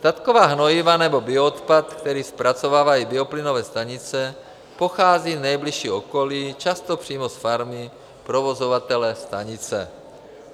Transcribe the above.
Statková hnojiva nebo bioodpad, který zpracovávají bioplynové stanice, pochází z nejbližšího okolí, často přímo z farmy provozovatele stanice.